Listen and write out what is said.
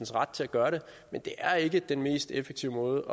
ret til at gøre det men det er ikke den mest effektive måde